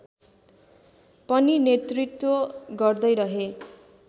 पनि नेतृत्व गर्दैरहे